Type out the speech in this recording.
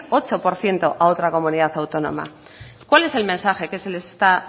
ocho por ciento a otra comunidad autónoma cuál es el mensaje que se les está